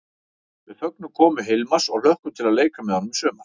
Við fögnum komu Hilmars og hlökkum til að leika með honum í sumar!